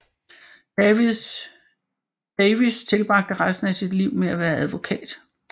Davis tilbragte resten af sit liv med at være advokat